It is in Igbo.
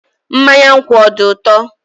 Mmanya nkwu ọ dị ụtọ?